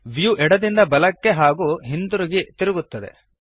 view ಎಡದಿಂದ ಬಲಕ್ಕೆ ಹಾಗೂ ಹಿಂತಿರುಗಿ ತಿರುಗುತ್ತದೆ